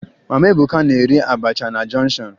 Mama Ebuka na-ere abacha na jọnshọn